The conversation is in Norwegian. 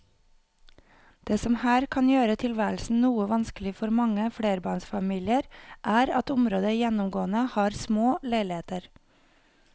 Det som her kan gjøre tilværelsen noe vanskelig for mange flerbarnsfamilier er at området gjennomgående har små leiligheter.